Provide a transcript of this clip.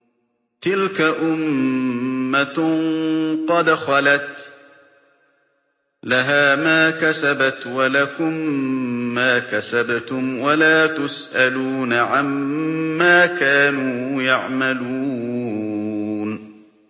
تِلْكَ أُمَّةٌ قَدْ خَلَتْ ۖ لَهَا مَا كَسَبَتْ وَلَكُم مَّا كَسَبْتُمْ ۖ وَلَا تُسْأَلُونَ عَمَّا كَانُوا يَعْمَلُونَ